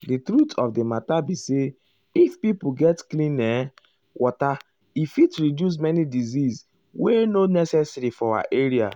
di truth of di matter be say if pipo get clean[um]water e fit reduce many disease wey nor necessary for our area.